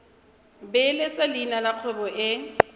beeletsa leina la kgwebo e